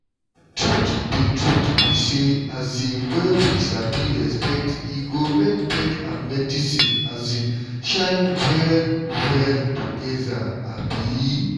truth be truth be say um when we sabi respect e go make faith and medicine shine well-well together. um